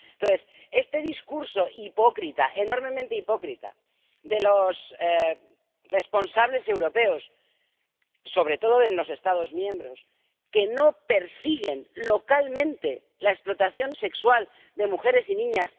Estamos ante este discurso hipócrita, enormemente hipócrita, de los responsables europeos, sobre todo en los Estados miembros, que no persiguen localmente la explotación sexual de mujeres y niñas.